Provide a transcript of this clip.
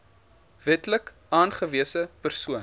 wetlik aangewese persoon